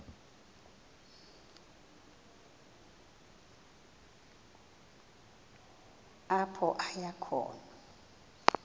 apho aya khona